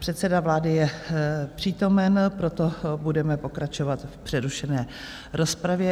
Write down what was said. Předseda vlády je přítomen, proto budeme pokračovat v přerušené rozpravě.